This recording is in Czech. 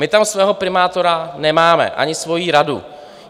My tam svého primátora nemáme, ani svoji radu.